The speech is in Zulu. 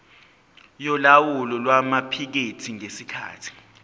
yolawulo lwamaphikethi ngesikhathi